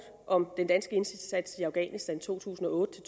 om den danske indsats i afghanistan to tusind og otte